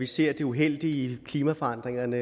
ser det uheldige ved klimaforandringerne